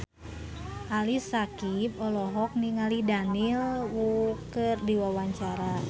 Ali Syakieb olohok ningali Daniel Wu keur diwawancara